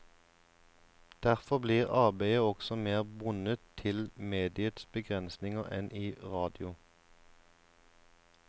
Derfor blir arbeidet også mer bundet til mediets begrensninger enn i radio.